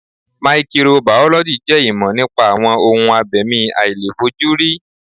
Maikiro bàọ́lọ́jì jẹ́ ìmọ̀ nípa àwọn ohun abẹ̀mí àìlèfojúrí.